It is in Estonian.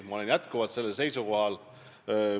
Ma olen jätkuvalt sellel seisukohal.